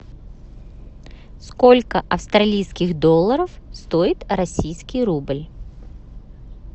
сколько австралийских долларов стоит российский рубль